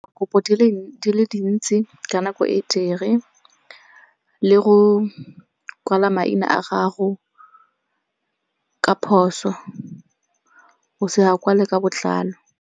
Kopo di le dintsi ka nako e tee. Le go kwala maina a gago ka phoso, o se a kwale ka botlalo.